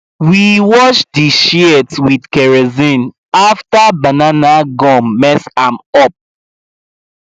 we wash di shears with kerosene after banana gum mess am up